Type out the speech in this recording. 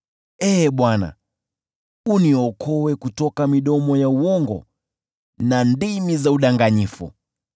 Ee Bwana , uniokoe kutoka midomo ya uongo na ndimi za udanganyifu.